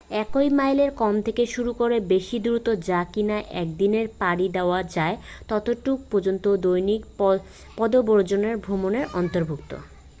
এক মাইলের কম থেকে শুরু করে বেশি দূরত্ব যা কিনা একদিনে পাড়ি দেয়া যায় ততটুকু পর্যন্ত দৈনিক পদব্রজে ভ্রমণের অন্তর্ভুক্ত